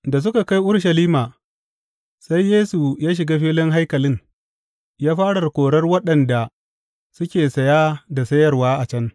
Da suka kai Urushalima, sai Yesu ya shiga filin haikalin, ya fara korar waɗanda suke saya da sayarwa a can.